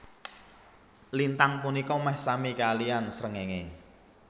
Lintang punika meh sami kaliyan srengenge